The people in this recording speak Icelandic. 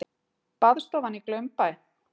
Baðstofan í Glaumbæ.